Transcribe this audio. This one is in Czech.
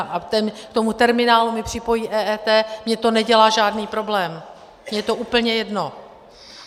A k tomu terminálu mi připojí EET, mně to nedělá žádný problém, mně je to úplně jedno.